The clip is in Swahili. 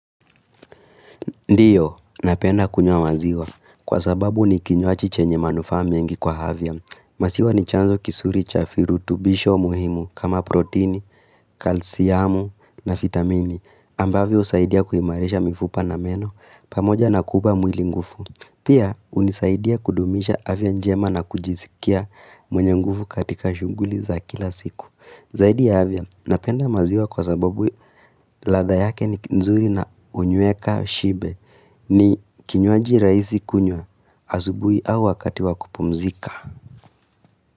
Ndiyo, napenda kunywa maziwa. Kwa sababu ni kinywaji chenye manufaa mingi kwa afya. Maziwa ni chanzo kizuri cha virutubisho muhimu kama protini, kalsiamu na vitamini. Ambavyo husaidia kuimarisha mifupa na meno. Pamoja na kupa mwili nguvu. Pia, unisaidia kudumisha afya njema na kujisikia mwenye nguvu katika shughuli za kila siku. Zaidi ya afya, napenda maziwa kwa sababu ladha yake ni nzuri na huniweka shibe ni kinywaji rahisi kunywa asubuhi au wakati wa kupumzika.